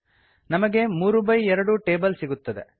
ನಮಗೆ 3 by 2 table ಸಿಗುತ್ತದೆ